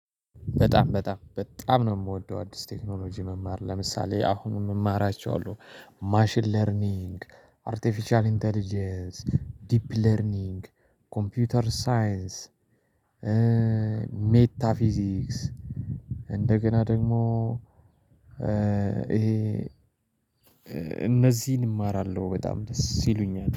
በጣም በጣም በጣም ነው የምወደው አዲስ ቴክኖሎጂ መማር ለምሳሌ አሁንም የሚማራቸዋለሁ ማሽን ለርኒንግ አርቲፊሻል ኢንተለጀንስ ዲፕ ለርኒንግ ኮምፒውተር ሳይንስ። ሜታፊዚክስ። እንደገና ደግሞ። ይሄ እነዚህን እማራለሁ። በጣም ደስ ይሉኛል